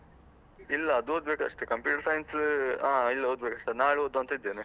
ಇಲ್ಲ ಅದು ಓದ್ಬೇಕು ಅಷ್ಟೆ. Computer science ಆ ಇಲ್ಲ ಓದ್ಬೇಕು ಅಷ್ಟೆ, ನಾಳೆ ಓದುವಾಂತ ಇದ್ದೇನೆ.